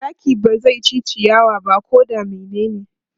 Zaki ba zai ci ciyawa ba ko da menene.